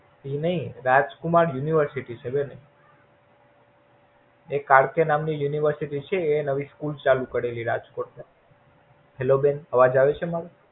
એ નઈ રાજકુમાર University છે એક આરકે નામ ની University છે એ નવી School ચાલુ કરે છે રાજકોટ. હેલો બેન આવાજ આવે છે?